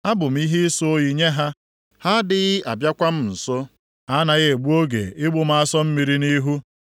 Abụ m ihe ịsọ oyi nye ha, ha adịghị abịakwa m nso; ha anaghị egbu oge igbu m asọ mmiri nʼihu.